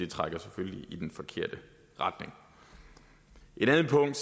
trækker selvfølgelig i den forkerte retning et andet punkt